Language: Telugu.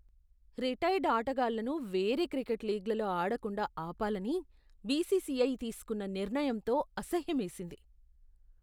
రిటైర్డ్ ఆటగాళ్లను వేరే క్రికెట్ లీగ్లలో ఆడకుండా ఆపాలని బీసీసీఐ తీసుకున్న నిర్ణయంతో అసహ్యమేసింది.